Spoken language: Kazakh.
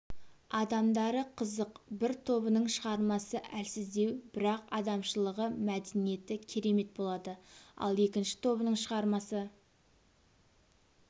адамдары қызық бір тобының шығармасы әлсіздеу бірақ адамшылығы мәдениеті керемет болады ал екінші тобының шығармасы